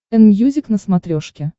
энмьюзик на смотрешке